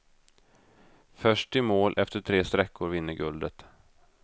Först i mål efter tre sträckor vinner guldet.